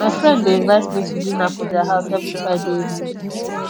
my friend dey invite me to dinner for their house every friday evening